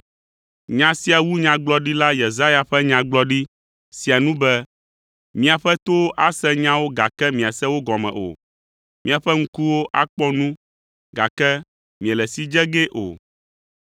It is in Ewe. Nya sia wu nyagblɔɖila Yesaya ƒe nyagblɔɖi sia nu be, “ ‘Miaƒe towo ase nyawo gake miase wo gɔme o, Miaƒe ŋkuwo akpɔ nu gake miele si dze gee o.